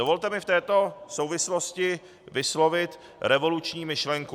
Dovolte mi v této souvislosti vyslovit revoluční myšlenku.